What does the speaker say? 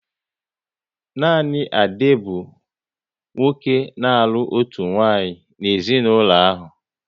Nanị Ade bụ nwoke n'alu otu nwaanyị n'ezinaulo ahụ